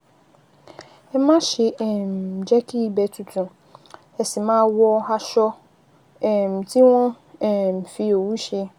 Ẹ máṣe um jẹ́ kí ibẹ̀ tutù, ẹ sì máa wọ aṣọ um tí wọ́n um fi òwú ṣe